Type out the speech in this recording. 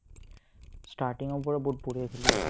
starting ৰ পৰা বহুত বঢ়িয়া খেলি আছিলে